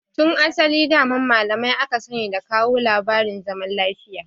Tun asali daman malamai aka sani da kawo labarin zaman lafiya